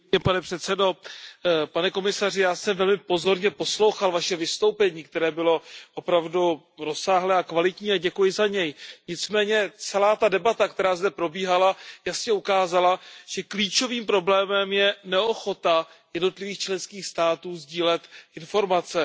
Pane komisaři, já jsem velmi pozorně poslouchal Vaše vystoupení, které bylo opravdu rozsáhlé a kvalitní, a děkuji za něj, nicméně celá ta debata, která zde probíhala, jasně ukázala, že klíčovým problémem je neochota jednotlivých členských států sdílet informace.